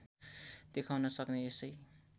देखाउन सक्ने यसै